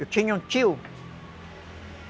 Eu tinha um tio.